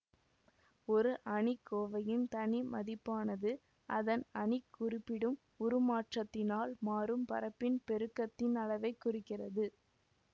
ஒரு அணிக்கோவையின் தனி மதிப்பானது அதன் அணி குறிப்பிடும் உருமாற்றத்தினால் மாறும் பரப்பின் பெருக்கத்தின் அளவை குறிக்கிறது